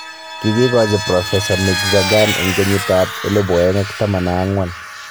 Kigiikachi Profesa Mirzakhan eng kenyit ab 2014